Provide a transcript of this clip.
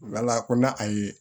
Ala ko n'a a ye